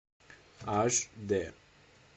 аш дэ